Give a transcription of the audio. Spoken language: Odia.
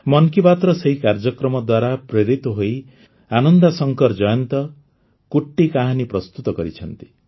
ମନ୍ କି ବାତ୍ର ସେହି କାର୍ଯ୍ୟକ୍ରମ ଦ୍ୱାରା ପ୍ରେରିତ ହୋଇ ଆନନ୍ଦାଶଙ୍କର ଜୟନ୍ତ କୁଟ୍ଟୀ କାହାନୀ ପ୍ରସ୍ତୁତ କରିଛନ୍ତି